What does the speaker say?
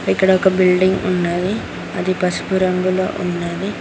ఇక్కడొక బిల్డింగ్ ఉన్నది అది పసుపు రంగులో ఉన్నది.